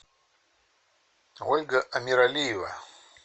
ольга амиралиева